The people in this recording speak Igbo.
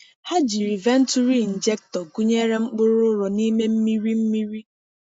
Ha jiri venturi injector gụnyere mkpụrụ ụrọ n’ime mmiri mmiri.